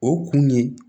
O kun ye